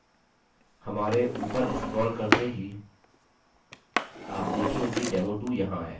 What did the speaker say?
हमारे ऊपर scroll करते ही आप देखेंगे कि demo2 यहाँ है